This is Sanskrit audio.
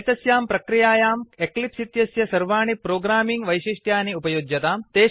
एतस्यां प्रक्रियायां एक्लिप्स् इत्यस्य सर्वाणि प्रोग्रामिंग् वैशिष्ट्यानि उपयुज्यताम्